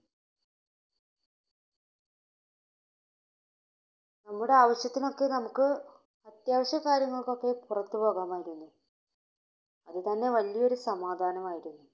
നമ്മുടെ ആവശ്യത്തിന് ഒക്കെ, നമുക്ക് അത്യാവശ്യ കാര്യങ്ങൾക്കൊക്കെ പുറത്തു പോകാമായിരുന്നു. അത് തന്നെ വലിയ ഒരു സമാധാനമായിരുന്നു.